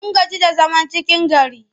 Mun gaji da zaman cikin gari.